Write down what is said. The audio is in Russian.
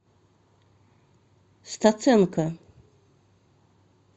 стаценко